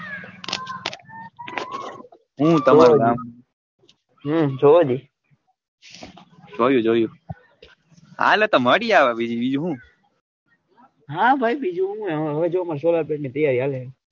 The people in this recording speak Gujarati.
હમ જોયેલી જોયી જોયી હાલા તા મળી આવ બીજું હું હા ભાઈ બીજું હું એમ હવે જો મડશે લા તૈયારી હાલે.